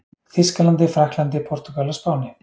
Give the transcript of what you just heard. Þýskalandi, Frakklandi, Portúgal og Spáni.